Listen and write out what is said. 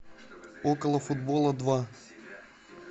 около футбола два